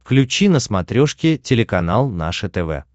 включи на смотрешке телеканал наше тв